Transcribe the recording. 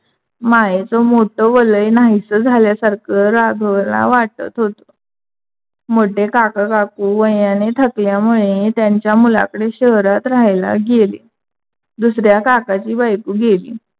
मायेच मोठा वलय नाहीस झाल्यासारख राघव ला वाटत होता. मोठे काकाकाकू वयाने थकल्यामुळे त्यांच्या मुलाकडे शहरात राहायला गेले. दुसऱ्या काकाच्या बायको गेली